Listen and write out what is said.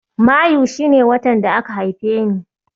Mayu shi ne watan da aka haife ni.